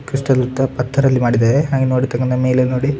Crystal ಪತ್ತರ್ ಅಲ್ಲಿ ಮಾಡಿದ್ದಾರೆ ಹಾಗೆ ನೋಡತ್ತಕಂತ ಮೇಲೆ ನೋಡಿ.